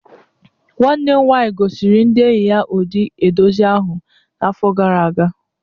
Nwanne m nwaanyị gosiri ndị enyi ya ụdị edozi ahụ n’afọ gara aga